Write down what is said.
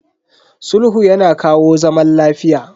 Sulhu yana kawo zaman lafiya.